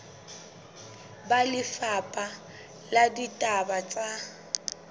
ba lefapha la ditaba tsa